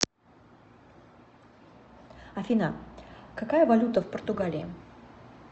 афина какая валюта в португалии